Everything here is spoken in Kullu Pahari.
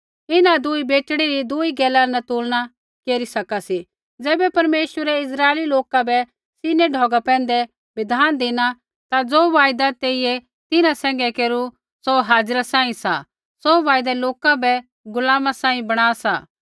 इन्हां दुई बेटड़ी री दुई गैला न तुलना केरी सका सी ज़ैबै परमेश्वरै इस्राइली लोका बै सीनै ढौगा पैंधै बिधान धिनु ता ज़ो वायदा तेइयै तिन्हां सैंघै केरू सौ हाजिरा सांही सा सौ वायदा लोका बै गुलामा सांही बणा सा